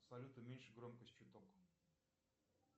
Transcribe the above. салют уменьши громкость чуток